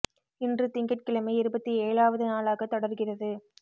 இன்று திங்கட்கிழமை இருபத்தி ஏழாவது நாளாக தொடர்கிறது